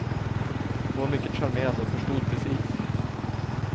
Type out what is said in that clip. Hon var mycket charmerande och förstod precis.